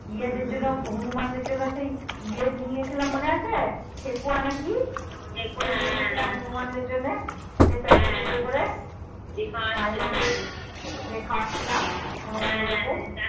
ইয়েদের জন্য হনুমানদের জন্য সেই ইয়ে নিয়ে গেসলাম মনে আছে ঠেকুয়া না কি ঠেকুয়া নিয়ে গেসলাম হনুমান দেড় জন্য সেই প্যাকটে এ করে করে দাইমা কে দিয়ে খাওয়াছিলাম হনুমান গুলোকে